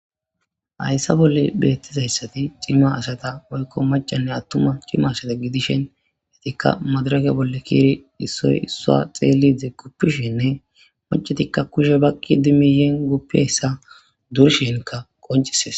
Hayssa bolle beettizayssati cimma asata woykko macanne attuma cima asata gidishen hetikka madarake bolle kiiri issoy issua xeelide kuppishinne macetikka kushe bakqi dimiyen guppeyssa durshinkka qoncises.